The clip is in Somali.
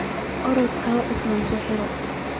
Orodh kawaa cusub soxiro.